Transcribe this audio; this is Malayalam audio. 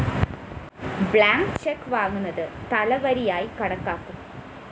ബ്ലാങ്ക്‌ ചെക്ക്‌ വാങ്ങുന്നത് തലവരിയായി കണക്കാക്കും